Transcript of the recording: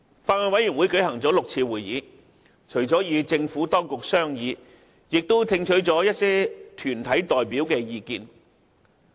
法案委員會共舉行了6次會議，除了與政府當局商議外，亦聽取了一些團體代表的意見。